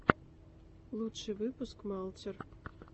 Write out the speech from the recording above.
лучший выпуск малтер